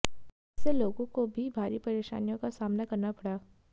इससे लोगों को भी भारी परेशानियों का सामना करना पड़ा